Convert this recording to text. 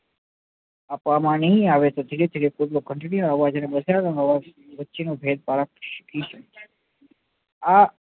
આપવા માં ની આવે તો ધીરે ધીરે કોઈ બી ઘંટડી નો અવાજ અને ભેદભાવ આં